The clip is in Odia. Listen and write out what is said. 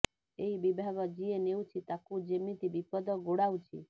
ଏହି ବିଭାଗ ଯିଏ ନେଉଛି ତାକୁ ଯେମିତି ବିପଦ ଗୋଡାଉଛି